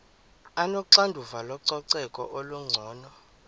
onoxanduva lococeko olungcono